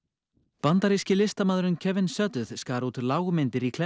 bandaríski listamaðurinn Kevin skar út lágmyndir í kletta